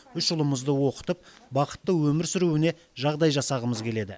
үш ұлымызды оқытып бақытты өмір сүруіне жағдай жасағымыз келеді